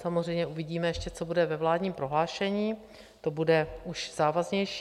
Samozřejmě uvidíme ještě, co bude ve vládním prohlášení, to bude už závaznější.